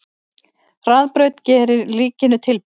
Hraðbraut gerir ríkinu tilboð